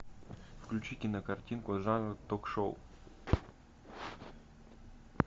включи кинокартинку жанр ток шоу